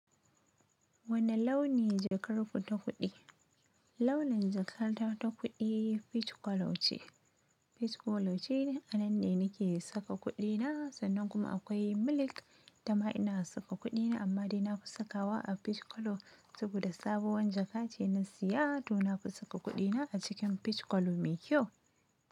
Wane launi jakar ku ta kuɗi? Launin jakar ta ta kuɗi, fic kolo ce. Fickolo ce anan ne nake saka kuɗina, sannan kuma akwai milik ita ma ina saka kuɗina, amma dai nafi sakawa a fickolo saboda sabowar jaka ce na siya to nafi saka kuɗina a cikin fickolo mai kyau.